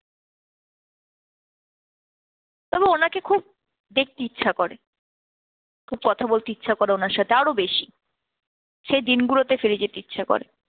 তবে ওনাকে খুব দেখতে ইচ্ছা করে, খুব কথা বলতে ইচ্ছে করে আমার সাথে আরো বেশি, সেই দিনগুলোতে ফিরে যেতে ইচ্ছা করে।